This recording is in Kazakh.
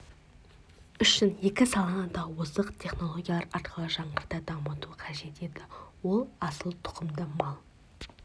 үшін екі саланы да озық технологиялар арқылы жаңғырта дамыту қажет еді ол асыл тұқымды мал